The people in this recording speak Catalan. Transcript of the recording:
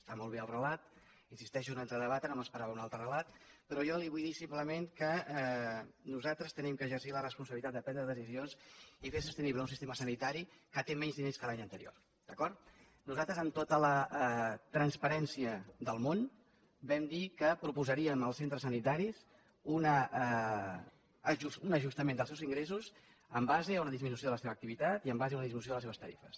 està molt bé el relat hi insisteixo no entro a debatre no m’esperava un altre relat però jo li vull dir simplement que nosaltres hem d’exercir la responsabilitat de prendre decisions i fer sostenible un sistema sanitari que té menys diners que l’any anterior d’acord nosaltres amb tota la transparència del món vam dir que proposaríem als centres sanitaris un ajustament dels seus ingressos en base a una disminució de la seva activitat i en base a una disminució de les seves tarifes